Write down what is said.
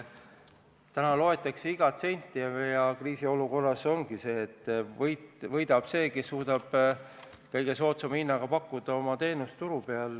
Täna loetakse igat senti ja kriisiolukorras ongi nii, et võidab see, kes suudab pakkuda oma teenust turu peal kõige soodsama hinnaga.